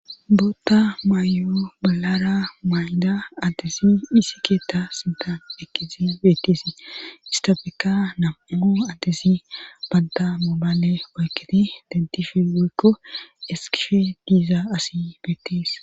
Bootta maayo balara maay'ida adtesi hisi keetta sintan ekkisi beetisi istafeka nam'ao adtesi banta moobaale woykketi deddife woykko eskishe diiza asi beettis.